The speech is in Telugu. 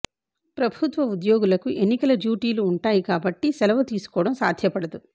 ప్రభుత్వ ఉద్యోగులకు ఎన్నికల డ్యూ టీలు ఉంటాయి కాబట్టి సెలవు తీసుకోవడం సాధ్యపడదు